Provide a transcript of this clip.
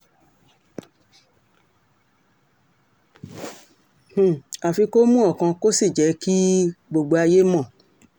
um àfi kó mú ọkàn kó sì jẹ́ kí um gbogbo ayé mọ́